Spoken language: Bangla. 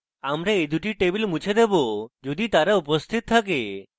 আমরা এই দুটি টেবিল মুছে দেবো যদি তারা ইতিমধ্যে উপস্থিত থাকে